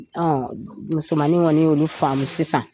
musomannin kɔni y'ulu faamu sisan.